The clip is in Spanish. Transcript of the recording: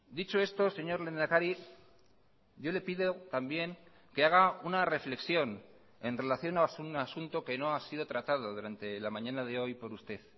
dicho esto señor lehendakari yo le pido también que haga una reflexión en relación a un asunto que no ha sido tratado durante la mañana de hoy por usted